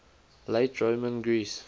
late roman greece